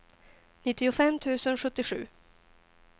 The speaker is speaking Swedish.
nittiofem tusen sjuttiosju